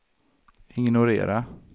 ignorera